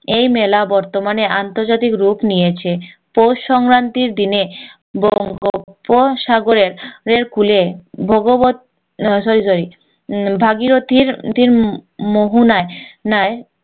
এই মেলা বর্তমানে আন্তর্জাতিক রূপ নিয়েছে পৌষ সংক্রান্তির দিনে বঙ্গোপ সাগরের কূলে ভগবৎ sorrysorry ভাগীরথীর তিন মোহনায় নায়